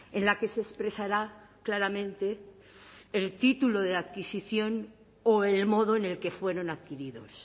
en la que se expresara claramente el título de adquisición o el modo en el que fueron adquiridos